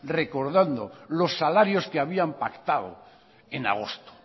recordando los salarios que habían pactado en agosto